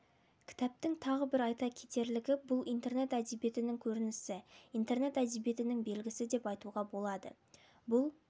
кітаптың тағы бір айта кетерлігі бұл интернет әдебиетінің көрінісі интернет әдебиетінің белгісі деп айтуға болады бұл